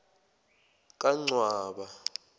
kancwaba